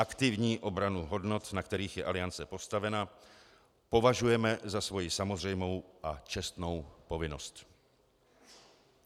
Aktivní obranu hodnot, na kterých je Aliance postavena, považujeme za svoji samozřejmou a čestnou povinnost."